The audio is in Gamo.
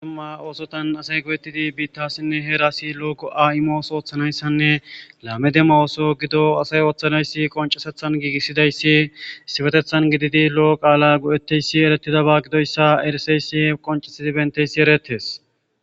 Duma oosotan asay go7ettidi biittasinne heerasi lo7ogo7a7imoos ooththanayssanne laame dema ooso gido asay ooththanayssi qoncesethan giigissidayssi sifetethan gididi lo7o qaala go7etteyssi eretidaba gidoyssa eriseyssi qoncisidi benteysi eretes.